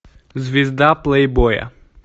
звезда плейбоя